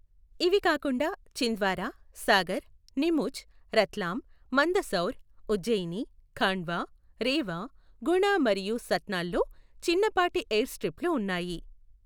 ఇవి కాకుండా, ఛింద్వారా, సాగర్, నీముచ్, రత్లామ్, మందసౌర్, ఉజ్జయిని, ఖాండ్వా, రేవా, గుణ మరియు సత్నాల్లో చిన్నపాటి ఎయిర్స్ట్రిప్లు ఉన్నాయి.